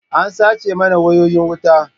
An sace mana wayoyin wuta.